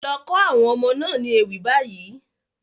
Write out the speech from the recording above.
Lọ kọ́ àwọn ọmọ náà ní ewì báyìí.